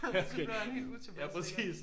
Så blev han helt utilpas